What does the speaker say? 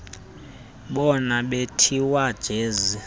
bona bethiwa jize